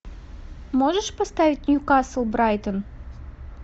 можешь поставить ньюкасл брайтон